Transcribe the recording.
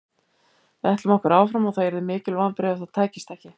Við ætlum okkur áfram og það yrðu mikil vonbrigði ef það tækist ekki.